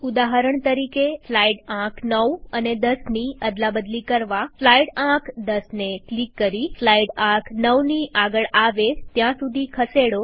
ઉદાહરણ તરીકે સ્લાઈડ આંક ૯ અને ૧૦ની અદલાબદલી કરવાસ્લાઈડ આંક ૧૦ને ક્લિક કરીસ્લાઈડ આંક ૯ની આગળ આવે ત્યાં સુધી ખસેડો